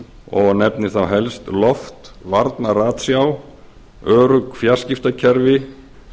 og nefndir þá helst loftvarna ratsjá örugg fjarskiptakerfi